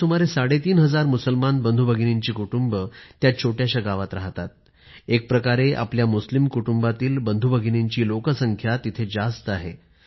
आपल्या सुमारे साडे तीन हजार मुसलमान बंधूभगिनींची कुटुंबं त्या छोट्याशा गावात राहतात एक प्रकारे आपल्या मुस्लिम कुटुंबांतील बंधूभगिनींची लोकसंख्या तिथे जास्त आहे